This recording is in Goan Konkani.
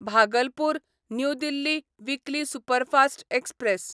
Bhagalpur new Delhi weekly superfast express